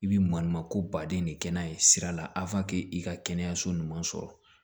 I bi maɲuman ko baden de kɛ n'a ye sira la i ka kɛnɛyaso ɲuman sɔrɔ